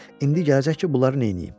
İndi gələcək ki, bunları neyniyim.